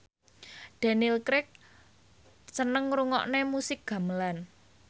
Daniel Craig seneng ngrungokne musik gamelan